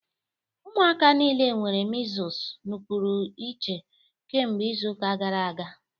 Ụmụaka niile nwere measles nọpụrụ iche kemgbe izu ụka gara aga